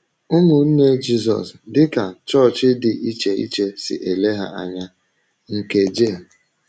“ Ụmụnne Jizọs dị ka Chọọchị Dị Iche Iche Si Ele Ha Anya, ” nke J.